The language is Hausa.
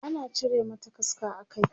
ana cire mata kaska a Kai